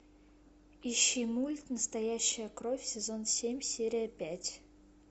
ищи мульт настоящая кровь сезон семь серия пять